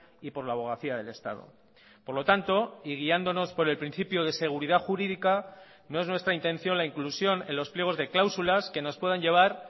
y por la abogacía del estado por lo tanto y guiándonos por el principio de seguridad jurídica no es nuestra intención la inclusión en los pliegos de cláusulas que nos puedan llevar